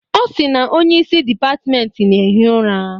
Ọ sị na onye isi dịpatmenti na-ehi ụra.